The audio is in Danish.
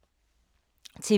TV 2